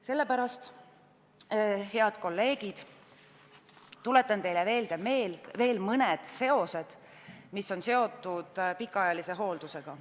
Sellepärast, head kolleegid, tuletan teile veel meelde mõned seosed, mis on seotud pikaajalise hooldusega.